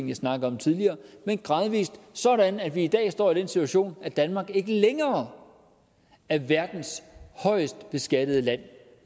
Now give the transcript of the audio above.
jeg snakkede om tidligere men gradvis sådan at vi i dag står i den situation at danmark ikke længere er verdens højest beskattede land